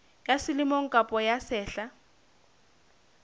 ya selemo kapa ya sehla